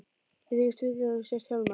Ég þykist vita að þú sért Hjálmar.